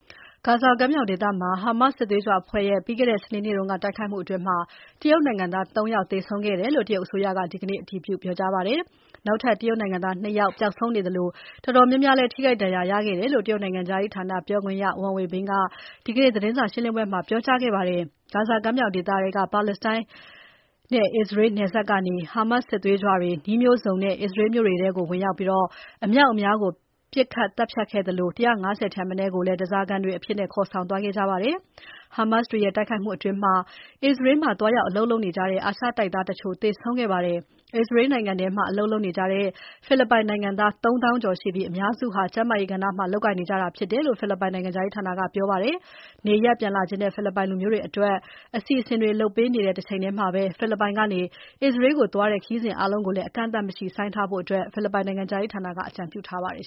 ဂါဇာကမ်းမြောင်ဒေသမှာ Hamas စစ်သွေးကြွအဖွဲ့ရဲ့ ပြီးခဲ့တဲ့ စနေနေ့က တိုက်ခိုက်မှုအတွင်း တရုတ်နိုင်ငံသား ၃ ယောက်သေဆုံးခဲ့တယ်လို့ တရုတ်အစိုးရက ဒီနေ့ အတည်ပြု ပြောကြားပါတယ်။ နောက်ထပ် တရုတ်နိုင်ငံသား ၂ ယောက် ပျောက်ဆုံးနေသလို တော်တော်များများလည်း ထိခိုက်ဒဏ်ရာရခဲ့တယ်လို့ တရုတ်နိုင်ငံခြားရေးဌာန ပြောခွင့်ရ Wang Wenbin က ဒီနေ့သတင်းစာရှင်းပွဲမှာ ပြောကြားခဲ့ပါတယ်။ ဂါဇာကမ်းမြောင်ဒေသထဲက ပါလက်စတိုင်း အစ္စရေးနယ်စပ်ကနေ Hamas စစ်သွေးကြွတွေ နည်းမျိုးစုံနဲ့ အစ္စရေးမြို့တွေထဲကို ဝင်ရောက်ပြီး အမြောက်အများကို ပစ်ခတ် သတ်ဖြတ်ခဲ့သလို ၁၅၀ ထက်မနည်းကို ဓါးစာခံတွေအဖြစ် ခေါ်ဆောင်သွားခဲ့ကြတယ်။ Hamas တွေရဲ့တိုက်ခိုက်မှုအတွင်း အစ္စရေးမှာ သွားရောက်အလုပ်လုပ်နေတဲ့ အာရှတိုက်သားတချို့ သေဆုံးခဲ့ပါတယ်။ အစ္စရေးနိုင်ငံထဲမှာ အလုပ်လုပ်နေကြတဲ့ ဖိလစ်ပိုင်နိုင်ငံသား ၃ သောင်းကျော်ရှိပြီး အများစုက ကျန်းမာရေးကဏ္ဍမှာ လုပ်ကိုင်နေကြတာဖြစ်တယ်လို့ ဖိလစ်ပိုင်နိုင်ငံခြားရေးဌာနက ပြောပါတယ်။ နေရပ်ပြန်လာချင်တဲ့ ဖိလစ်ပိုင်လူမျိုးတွေအတွက် အစီအစဉ်တွေ လုပ်ပေးနေတဲ့ တချိန်ထဲမှာ ဖိလစ်ပိုင်ကနေ အစ္စရေးကိုသွားတဲ့ ခရီးစဉ်အားလုံးကို အကန့်အသတ်မရှိ ဆိုင်းထားဖို့လည်း ဖိလစ်ပိုင်နိုင်ငံခြားရေးဌာနက အကြံပြုထားပါတယ်